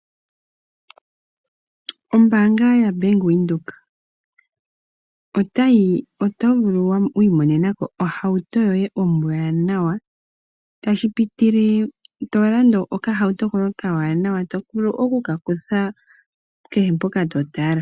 Ombanga yabank windhoek oto vulu okuimonenako ohawuto yoye ombwananwa tashipitile tolanda okahauto koye okawanawa toka vulu okuka kutha kehe mpoka to tala.